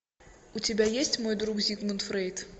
у тебя есть мой друг зигмунд фрейд